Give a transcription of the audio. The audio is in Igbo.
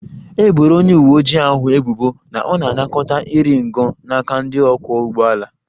E boro onye uwe ojii ahụ ebubo na ọ na-anakọta iri ngo n'aka ndị ọkwọ ụgbọ ala